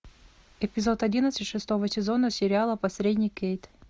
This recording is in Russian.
эпизод одиннадцать шестого сезона сериала посредник кейт